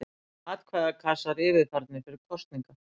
Atkvæðakassar yfirfarnir fyrir kosningar.